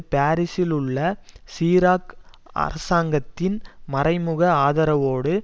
பாரிசில் உள்ள சிராக் அரசாங்கத்தின் மறை முக ஆதரவோடு